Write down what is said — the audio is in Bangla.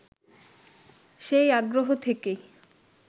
সেই আগ্রহ থেকেই